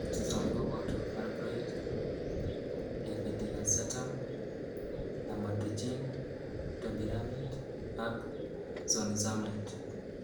Chuton koboto valproate, levetiracetam, lamotrigine, topiramate ak zonisamide.